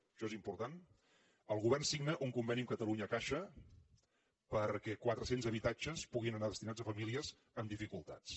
això és important el govern signa un conveni amb catalunya caixa perquè quatre cents habitatges puguin anar destinats a famílies en dificultats